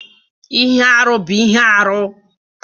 Ihe arụ bụ ihe arụ